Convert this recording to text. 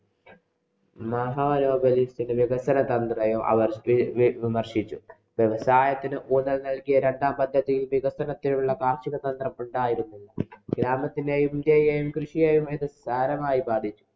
വികസനതന്ത്രത്തെയും അവര്‍ വി വിമര്‍ശിച്ചു. വ്യവസായത്തിനു ഊന്നല്‍ നല്‍കിയ രണ്ടാം പദ്ധതിയില്‍ വികസനത്തിനുള്ള കാര്‍ഷിക സന്ദര്‍ഭം ഉണ്ടായിരുന്നില്ല. ഗ്രാമത്തിലെ കൃഷിയെയും ഇത് സാരമായി ബാധിച്ചു.